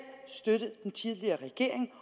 støttet den tidligere regering